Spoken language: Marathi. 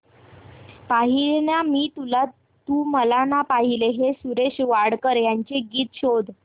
पाहिले ना मी तुला तू मला ना पाहिले हे सुरेश वाडकर यांचे गीत शोध